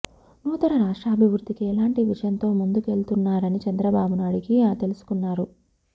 నూతన రాష్ట్రాభివృద్ధికి ఎలాంటి విజన్ తో ముందుకెళ్తున్నారని చంద్రబాబును అడిగి తెలుసుకున్నారు